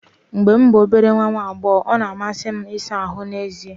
Mgbe m bụ obere nwa agbọghọ, ọ na-amasị m ịsa ahụ́ n’èzí.